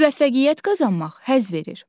Müvəffəqiyyət qazanmaq həzz verir.